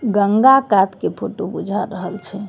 गंगा काट के फोटो बुझा रहल छे।